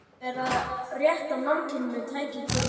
Það var verið að rétta mannkyninu tæki til að